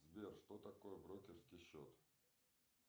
сбер что такое брокерский счет